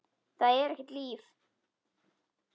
Það er ekkert líf.